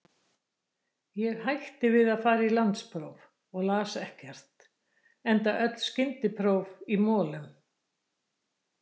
Ég hætti við að fara í landspróf og las ekkert, enda öll skyndipróf í molum.